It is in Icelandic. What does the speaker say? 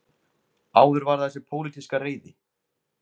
Áður var það þessi pólitíska reiði